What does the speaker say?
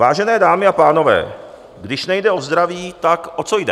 Vážené dámy a pánové, když nejde o zdraví, tak o co jde?